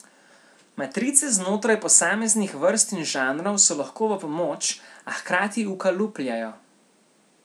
Matrice znotraj posameznih vrst in žanrov so lahko v pomoč, a hkrati ukalupljajo.